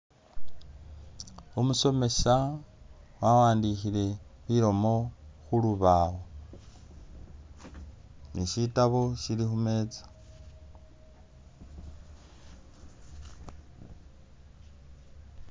Umusomesa wawandikhile bilomo khulubaawo, ni shitabo shili khumeza